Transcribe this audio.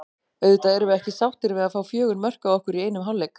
Auðvitað erum við ekki sáttir við að fá fjögur mörk á okkur í einum hálfleik.